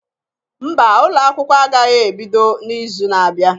Mba ụlọ akwụkwọ agaghị ebido n'izu na-abịa.